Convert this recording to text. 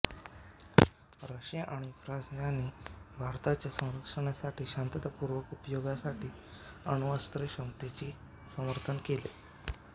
Russia आणि France यांनी भारताच्या स्वसंरक्षणासाठी आणि शान्ततापूर्ण उपयोगासाठी अण्वस्त्रक्षमतेचे समर्थन केले